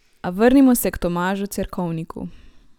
A vrnimo se k Tomažu Cerkovniku.